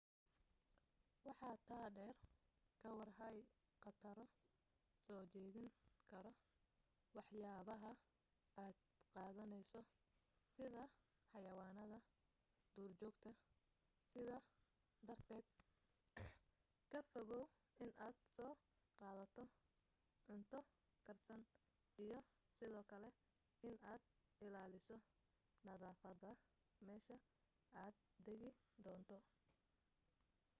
waxa taa dheer ka war haay qataro soo jiidan karo waxyabaha aad qadaneyso sida xayawaanada duurjoogta sidaa darted ka fogow inad soo qadato cunto karsan iyo sidoo kale in aad ilaaliso nadafada mesha aad degi doonto